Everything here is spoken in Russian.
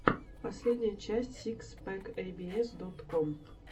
последняя часть сикс пэк эй би эс дот ком